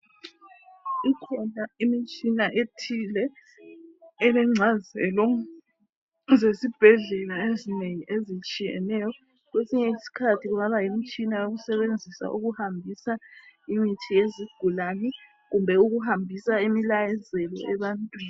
Ikhona imitshina ethile elengcazelo zesibhedlela ezinengi ezitshiyeneyo, kwesinye isikhathi kungaba yimtshina wokusebenzisa ukuhambisa imithi yezigulani kumbe ukuhambisa imilayezo ebantwini.